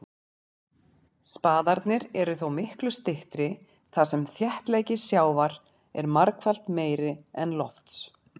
Spaðarnir eru þó miklu styttri þar sem þéttleiki sjávar er margfalt meiri en lofts.